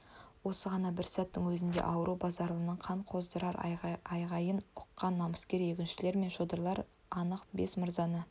осы ғана бір сәттің өзінде ауру базаралының қан қоздырар айғайын ұққан намыскер егіншілер мен шодырлар анық бес мырзаны